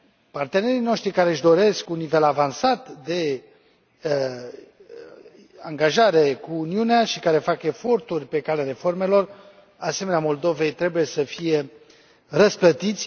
Partenerii noștri care își doresc un nivel avansat de angajare cu Uniunea și care fac eforturi pe calea reformelor asemenea Moldovei trebuie să fie răsplătiți.